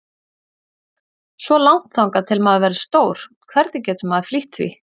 Svo langt þangað til maður verður stór, hvernig getur maður flýtt því?